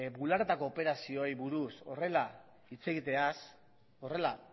bularretako operazioei buruz horrela hitz egiteaz horrela